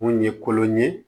Mun ye kolon ye